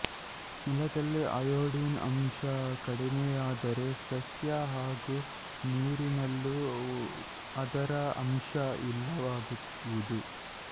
ನೆಲದಲ್ಲಿ ಅಯೊಡಿನ್ ಅಂಶ ಕಡಿಮೆಯಾದರೆ ಸಸ್ಯ ಹಾಗು ನೀರಿನಲ್ಲೂ ಅದರ ಅಂಶ ಇಲ್ಲವಾಗುವುದು